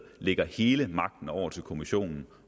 lægger hele magten over til kommissionen